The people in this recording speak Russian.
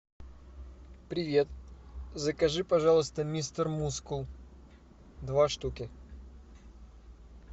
привет закажи пожалуйста мистер мускул два штуки